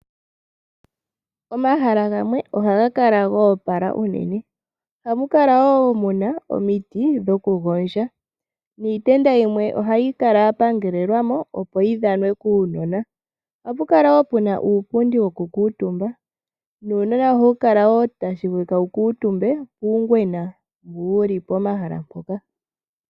Omahala gamwe ohaga kala ga opala unene. Ohamu kala wo ku na omiti dhokugondja, niitenda yimwe ohayi kala ya pangelelwa mo, opo yi dhanwe kuunona. Ohapu kala wo pu ba uupundi wokukuutumba, nuunona ohawu kala wo tashi vulika wu kuutumbe puungwena, mbu wu li pomahala mpoka.